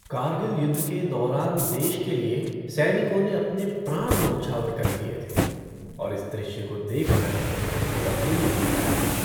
कारगिल युद्ध के दौरान देश के लिए सैनिकों ने अपने प्राण न्यौछावर कर दिये थे और इस दृश्य को देख कर मेरा दिल भर आया था।